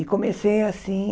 E comecei, assim,